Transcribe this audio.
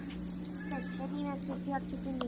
Steinn, heyrðu í mér eftir fjörutíu og fimm mínútur.